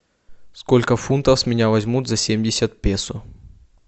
сколько фунтов с меня возьмут за семьдесят песо